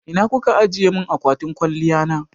Ina kuka ajiye mun akwatin kwaliya na?